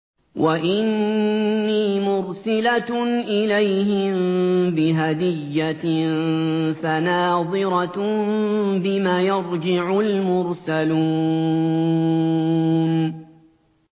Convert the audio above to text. وَإِنِّي مُرْسِلَةٌ إِلَيْهِم بِهَدِيَّةٍ فَنَاظِرَةٌ بِمَ يَرْجِعُ الْمُرْسَلُونَ